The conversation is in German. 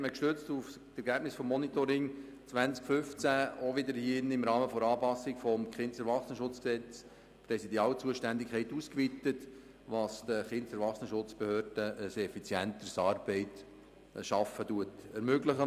Gestützt auf die Ergebnisse des Monitorings wurde 2015 im Rahmen der Anpassung des KESG auch wieder hier im Grossen Rat die Präsidialzuständigkeiten ausgeweitet, was den KESB ein effizienteres Arbeiten ermöglicht.